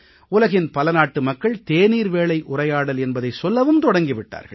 உலகின் பல நாட்டு மக்கள் தேநீர் வேளை உரையாடல் என்பதை சொல்லவும் தொடங்கி விட்டார்கள்